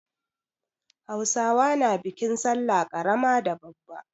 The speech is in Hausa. Hausawa na bikin sallah ƙarama da babba.